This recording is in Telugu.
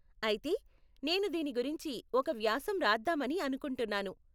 అయితే, నేను దీని గురించి ఒక వ్యాసం రాద్దామని అనుకుంటున్నాను.